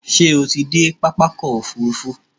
Ṣé o ti dé pápákọ̀ òfurufú?